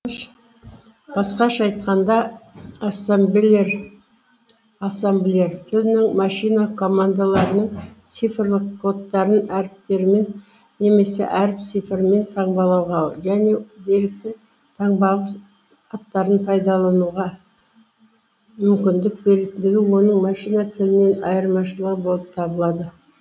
басқаша айтқанда ассамблер тілінің машина командаларының цифрлық кодтарын әріптермен немесе әріп цифрлармен таңбалауға және деректердің таңбалық аттарын пайдалануға мүмкіндік беретіндігі оның машина тілінен айырмашылығы болып табылады